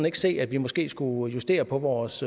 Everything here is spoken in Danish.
ikke se at vi måske skulle justere på vores